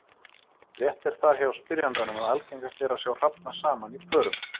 Rétt er það hjá spyrjandanum að algengast er að sjá hrafna saman í pörum.